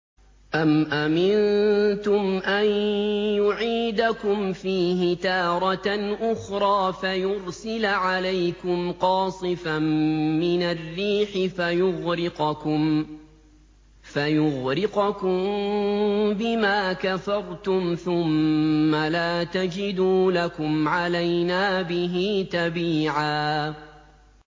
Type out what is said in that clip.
أَمْ أَمِنتُمْ أَن يُعِيدَكُمْ فِيهِ تَارَةً أُخْرَىٰ فَيُرْسِلَ عَلَيْكُمْ قَاصِفًا مِّنَ الرِّيحِ فَيُغْرِقَكُم بِمَا كَفَرْتُمْ ۙ ثُمَّ لَا تَجِدُوا لَكُمْ عَلَيْنَا بِهِ تَبِيعًا